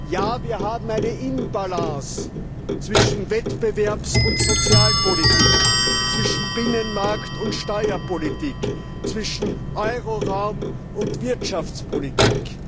Ja, wir haben ein Ungleichgewicht zwischen Wettbewerbs und Sozialpolitik, zwischen Binnenmarkt und Steuerpolitik, zwischen Euroraum und Wirtschaftspolitik.